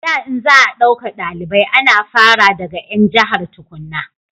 a da in za a dauka dalibai ana fara daga 'yan jahar tukunna